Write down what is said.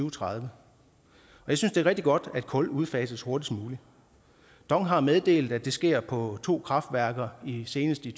og tredive jeg synes det er rigtig godt at kul udfases hurtigst muligt dong har meddelt at det sker på to kraftværker senest i